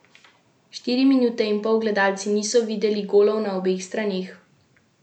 Štiri minute in pol gledalci niso videli golov na obeh straneh.